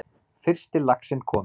Fyrsti laxinn kominn